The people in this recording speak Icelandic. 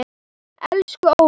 Elsku Óla.